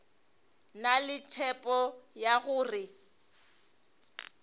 na le tshepo ya gore